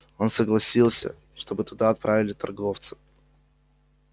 он согласился чтобы туда отправили торговца